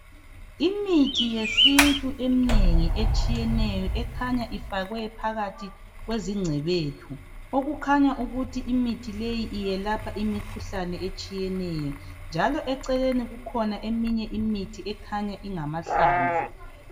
Imithi yesintu eminengi etshiyeneyo ekhanya ifakwe phakathi kwezingcebethu okukhanya ukuthi imithi leyi iyelapha imikhuhlane etshiyeneyo. Njalo eceleni kukhona eminye imithi ekhanya ingamahlamvu.